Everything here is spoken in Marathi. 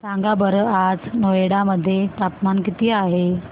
सांगा बरं आज नोएडा मध्ये तापमान किती आहे